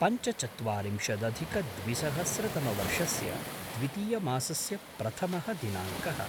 पञ्चचत्वारिंशदधिकद्विसहस्रतमवर्षस्य द्वितीयमासस्य प्रथमः दिनाङ्कः